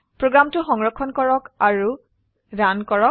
প্ৰোগ্ৰামটো সংৰক্ষণ কৰক আৰু ৰান কৰক